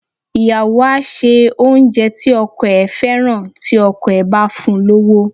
Ìyàwó á ṣe oúnjẹ tí ọkọ ẹ̀ fẹ́ràn tí ọkọ ẹ̀ bá fún un lówó.